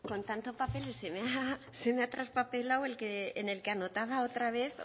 con tanto papel se me ha traspapelado en el que anotaba otra vez